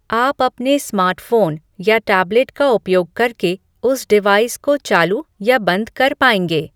आप अपने स्मार्टफोन या टैबलेट का उपयोग करके उस डिवाइस को चालू या बंद कर पाएँगे